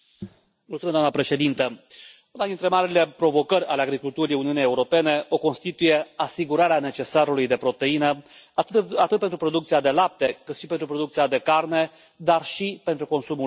Doamnă președintă, una dintre marile provocări ale agriculturii Uniunii Europene o constituie asigurarea necesarului de proteină, atât pentru producția de lapte, cât și pentru producția de carne, dar și pentru consumul uman.